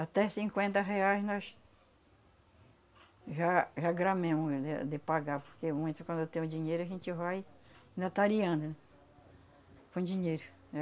Até cinquenta reais nós já já gramemos de de pagar, porque quando tem o dinheiro a gente vai notariando com o dinheiro, né?